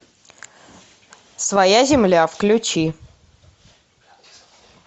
своя земля включи